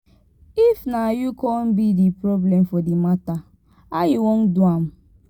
if na yu con be d problem for di mata how you wan do am